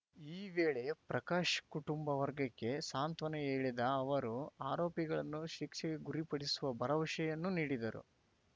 ಈ ವೇಳೆ ಪ್ರಕಾಶ್‌ ಕುಟುಂಬ ವರ್ಗಕ್ಕೆ ಸಾಂತ್ವನ ಹೇಳಿದ ಅವರು ಆರೋಪಿಗಳನ್ನು ಶಿಕ್ಷೆಗೆ ಗುರಿಪಡಿಸುವ ಭರವಸೆಯನ್ನೂ ನೀಡಿದರು